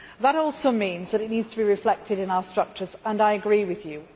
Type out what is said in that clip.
That also means that it needs to be reflected in our structures, and I agree with you.